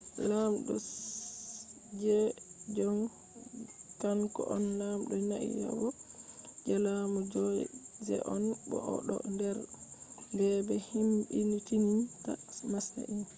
lamɗo sejong kan ko on lamdo naiyabo je laamu joseon bo o do der be-be himmidininta masin